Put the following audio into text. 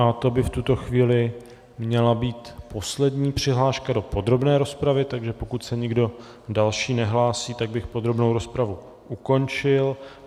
A to by v tuto chvíli měla být poslední přihláška do podrobné rozpravy, takže pokud se někdo další nehlásí, tak bych podrobnou rozpravu ukončil.